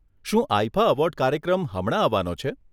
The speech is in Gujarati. શું આઇફા એવોર્ડ કાર્યક્રમ હમણાં આવવાનો છે?